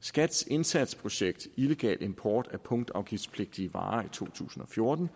skats indsatsprojekt illegal import af punktafgiftspligtige varer i to tusind og fjorten